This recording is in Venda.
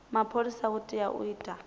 mapholisa u tea u ita